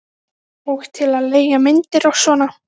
Og til að leigja myndir og svona.